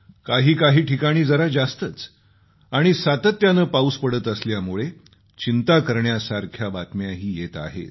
काही काही ठिकाणी जरा जास्तच आणि सातत्यानं पाऊस पडत असल्यामुळे चिंता करण्यासारख्या बातम्याही येत आहेत